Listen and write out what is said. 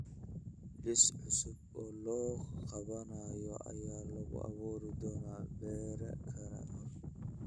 Liis cusub oo la qabanayo ayaa la abuuri doonaa berri ka hor